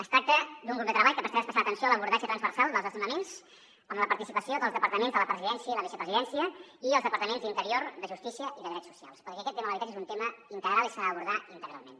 es tracta d’un grup de treball que prestarà especial atenció a l’abordatge transversal dels desnonaments amb la participació dels departaments de la presidència i la vicepresidència i els departaments d’interior de justícia i de drets socials perquè aquest tema de l’habitatge és un tema integral i s’ha d’abordar integralment